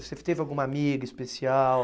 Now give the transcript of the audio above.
Você teve alguma amiga especial?